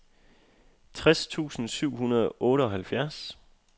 tres tusind syv hundrede og otteoghalvfjerds